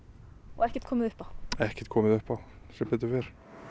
ekkert komið upp á ekkert komið upp á sem betur fer